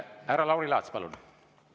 Härra Lauri Laats, palun!